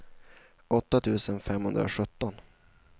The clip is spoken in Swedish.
åtta tusen femhundrasjutton